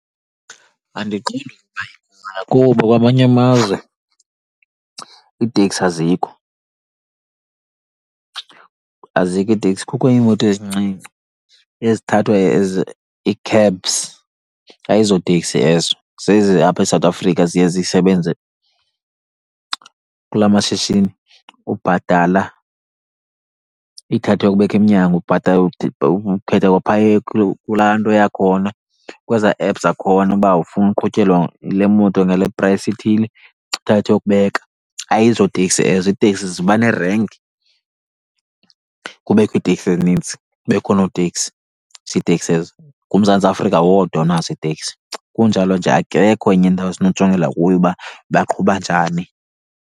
Andiqondi , kuba kwamanye amazwe iiteksi azikho, azikho iiteksi kukho iimoto ezincinci ezithathwa as ii-cabs. Ayizo teksi ezo, zezi apha eSouth Africa ziye zisebenze kulaa mashishini ubhatala ikuthathe iyokubeka emnyango. Ubhatala, ukhetha kwaphaya kulaa nto yakhona, kwezaa apps zakhona uba ufuna uqhutyelwa yile moto ngale price ithile, ikuthathe iyokubeka. Ayizo teksi ezo, iiteksi ziba nerenki, kubekho iiteksi ezininzi, kubekho oonoteksi, ziiteksi ezo. NguMzantsi Afrika wodwa onazo iiteksi, kunjalo nje akekho enye indawo esinokujongela kuyo uba baqhuba njani.